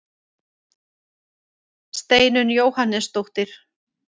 Steinunn Jóhannesdóttir.